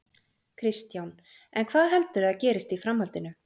Kristján: En hvað heldurðu að gerist í framhaldinu?